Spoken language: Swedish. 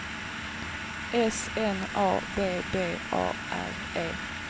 S N A B B A R E